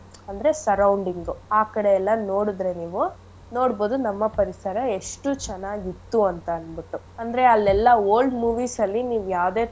ಅಂದ್ರೆ surrounding ಉ ಆಕಡೆ ಎಲ್ಲಾ ನೋಡದ್ರೆ ನೀವು ನೋಡ್ಬೋದು ನಮ್ಮ ಪರಿಸರ ಎಷ್ಟು ಚೆನ್ನಾಗ್ ಇತ್ತು ಅಂತ ಅನ್ಬಿಟ್ಟು ಅಂದ್ರೆ ಅಲ್ಲೆಲ್ಲ old movies ಅಲ್ಲಿ ಬರಿ ನೀವ್ ಯಾವ್ದೆತರ.